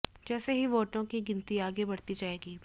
जैसे ही वोटों की गिनती आगे बढ़ते जाएगी